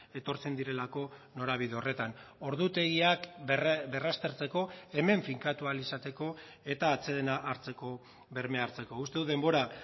etortzen direlako norabide horretan ordutegiak berraztertzeko hemen finkatu ahal izateko eta atsedena hartzeko bermea hartzeko uste dut denbora